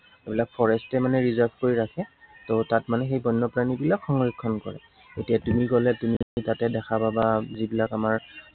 সেইবিলাক forest এ মানে reserve কৰি ৰাখে। ত তাত মানে সেই বন্য় প্ৰাণীবিলাক সংৰক্ষণ কৰে। এতিয়া তুমি গলে তুমি তাতে দেখা পাবা যিবিলাক আমাৰ